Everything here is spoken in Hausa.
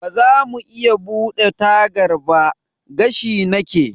Bazamu iya buɗe tagar ba? gashi nake.